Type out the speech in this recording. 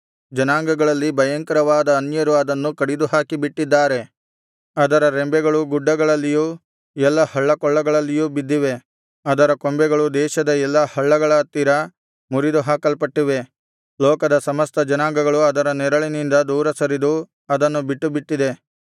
ಜನಾಂಗಗಳಲ್ಲಿ ಭಯಂಕರವಾದ ಅನ್ಯರು ಅದನ್ನು ಕಡಿದುಹಾಕಿ ಬಿಟ್ಟಿದ್ದಾರೆ ಅದರ ರೆಂಬೆಗಳು ಗುಡ್ಡಗಳಲ್ಲಿಯೂ ಎಲ್ಲಾ ಹಳ್ಳಕೊಳ್ಳಗಳಲ್ಲಿಯೂ ಬಿದ್ದಿವೆ ಅದರ ಕೊಂಬೆಗಳು ದೇಶದ ಎಲ್ಲಾ ಹಳ್ಳಗಳ ಹತ್ತಿರ ಮುರಿದುಹಾಕಲ್ಪಟ್ಟಿವೆ ಲೋಕದ ಸಮಸ್ತ ಜನಾಂಗಗಳು ಅದರ ನೆರಳಿನಿಂದ ದೂರ ಸರಿದು ಅದನ್ನು ಬಿಟ್ಟುಬಿಟ್ಟಿದೆ